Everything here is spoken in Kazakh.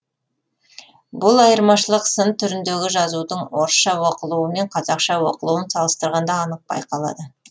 бұл айырмашылық сын түріндегі жазудың орысша оқылуы мен қазақша оқылуын салыстырғанда анық байқалады